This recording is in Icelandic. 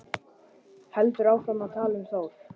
Heldur áfram að tala um Þór: